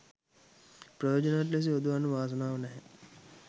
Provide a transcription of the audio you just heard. ප්‍රයෝජනවත් ලෙස යොදවන්න වාසනාව නැහැ.